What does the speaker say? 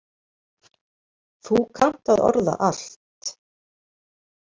Þú kannt að orða allt.